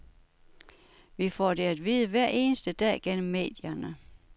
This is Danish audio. Vi får det at vide hver eneste dag gennem medierne.